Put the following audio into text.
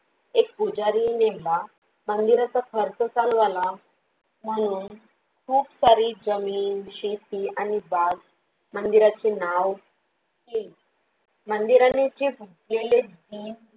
एक पुजारी नेमला, मंदिराचा खर्च चालू झाला म्हणून खूप सारी जमीन, शेती आणि बाग मंदिराचे नाव हे, मंदिराचे उज्वलीत दीप